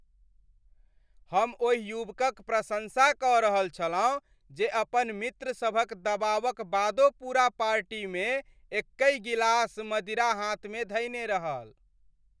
हम ओहि युवकक प्रशँसा कऽ रहल छलहुँ जे अपन मित्रसभक दबावक बादो पूरा पार्टीमे एक्कहि गिलास मदिरा हाथमे धयने रहल।